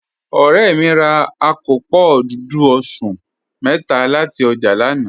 Ọ̀rẹ́ mi rà àkópọ́ dúdú ọ̀ṣun métà láti ojá lànà.